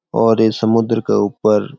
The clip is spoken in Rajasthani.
और ये समुद्र के उपर --